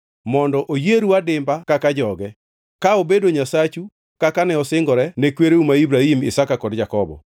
mondo oyieru adimba kaka joge, ka obedo Nyasachu kaka ne osingore ne kwereu ma Ibrahim, Isaka kod Jakobo.